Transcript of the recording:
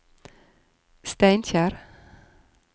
Steinkjer